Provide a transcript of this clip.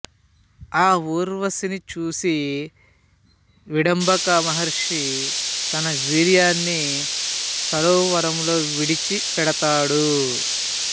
ఆ ఊర్వశిని చూసి విభండక మహర్షి తన వీర్యాన్ని సరోవరములో విడిచిపెడతాడు